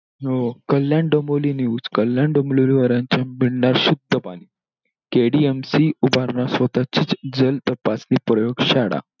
हो हो! कल्याण डोंबिविली news कल्याण डोंबिविली वाल्यांना मिळणार शुद्ध पाणी. KDM ची उभारणं स्वतंत्र जल तपासणी प्रयोग शाळा.